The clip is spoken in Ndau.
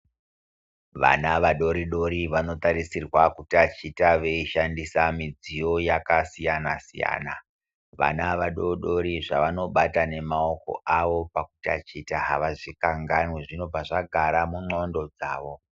Vana vadori dori vanotarisirwa kutachita veishandise mudziyo yakasiyana siyana. Vana vadodori zvavanobata nemaoko avo pakutaticha avazvikanganwi zvinobva zvagara mundxondo dzawo.